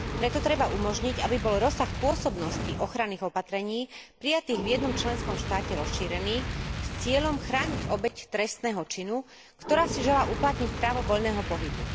Preto treba umožniť, aby bol rozsah pôsobnosti ochranných opatrení prijatých v jednom členskom štáte rozšírený s cieľom chrániť obeť trestného činu, ktorá si želá uplatniť právo voľného pohybu.